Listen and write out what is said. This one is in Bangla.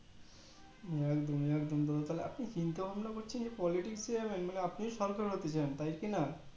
একদম একদম দাদা আপনি চিন্তা ভাবনা করছেন যে politics এ যাবেন মানে আপনি function হতে চান তাই কিনা